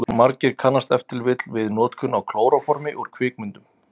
Margir kannast ef til vill við notkun á klóróformi úr kvikmyndum.